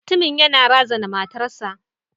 Mutumin yana razana matarsa.